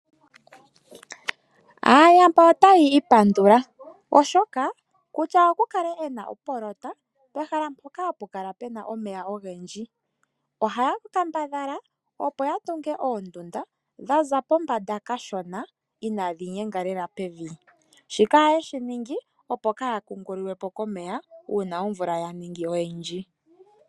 Aayamba otaya ipandula oshoka kutya oku kale ena opoloyeka pehala mpoka hapu kala puna omeya ogendji, ohaya kambadhala opo ya tunge oondunda dhaza pombanda kashona inaadhi nyenga lela pevi. Shika oha yeshi ningi opo kaaya kungululwe po komeya uuna omvula ya ningi oyindji.